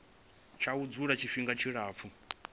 tsha u dzula tshifhinga tshilapfu